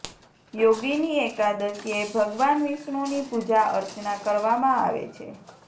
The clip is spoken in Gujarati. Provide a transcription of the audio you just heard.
યોગિની એકાદશીએ ભગવાન વિષ્ણુની પૂજા અર્ચના કરવામાં આવે છે